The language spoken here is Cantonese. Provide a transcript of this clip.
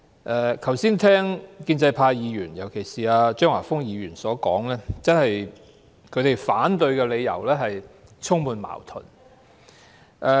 我剛才聽建制派議員，尤其是張華峰議員的發言，他們反對的理由真是充滿矛盾。